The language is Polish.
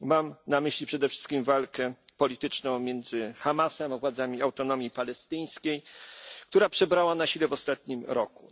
Mam na myśli przede wszystkim walkę polityczną między Hamasem a władzami Autonomii Palestyńskiej, która przybrała na sile w ostatnim roku.